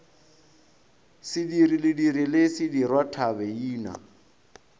sediri lediri le sedirwa thabeina